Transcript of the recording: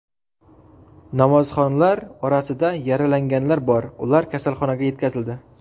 Namozxonlar orasida yaralanganlar bor, ular kasalxonaga yetkazildi.